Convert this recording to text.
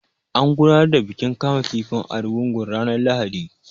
An gudanar da bikin kama kifin Argungun ranar Lahadi.